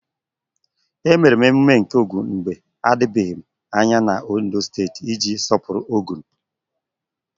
Emere emume nke Ogun mgbe adịbeghị anya na Ondo steeti iji sọpụrụ Ogun.